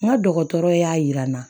N ka dɔgɔtɔrɔ y'a jira n na